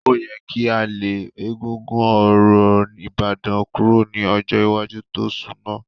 Ó yẹ kí a lé egúngún orò Ìbàdàn kúrò ní ọjọ́ iwájú tó sunmọ́.